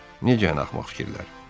"Necə yəni axmaq fikirlər?"